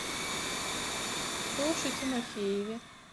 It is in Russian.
тоше тимофееве